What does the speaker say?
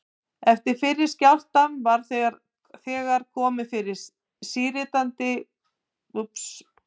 Eftir fyrri skjálftann var þegar komið fyrir síritandi vatnshæðarmælum í allmörgum borholum á